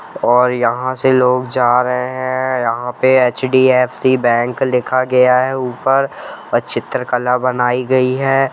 और यहां से लोग जा रहे हैं यहां पर एच.डी.एफ.सी बैंक लिखा गया है ऊपर और चित्रकला बनाई गई है।